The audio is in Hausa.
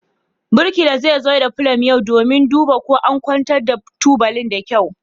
Birkila zai zo da pulum yau domin duba ko an kwanta tubalin da kyau.